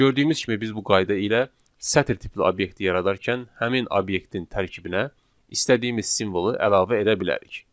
Gördüyümüz kimi biz bu qayda ilə sətir tipli obyekti yaradarkən həmin obyektin tərkibinə istədiyimiz simvolu əlavə edə bilərik.